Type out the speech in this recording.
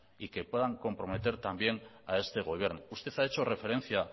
y que puedan comprometer también a este gobierno usted ha hecho referencia